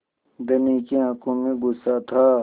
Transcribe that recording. धनी की आँखों में गुस्सा था